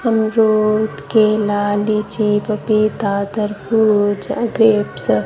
कमजोर के लाली जीब पे दादरपुर जा ग्रपेस